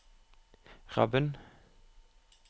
Rabben